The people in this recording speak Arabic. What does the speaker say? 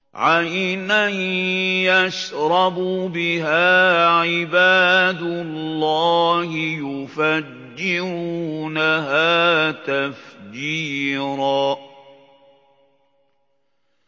عَيْنًا يَشْرَبُ بِهَا عِبَادُ اللَّهِ يُفَجِّرُونَهَا تَفْجِيرًا